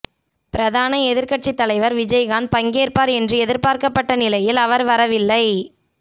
பிரதான எதிர்கட்சித்தலைவர் விஜயகாந்த் பங்கேற்பார் என்று எதிர்பார்க்கப்பட்ட நிலையில் அவர் வரவில்லை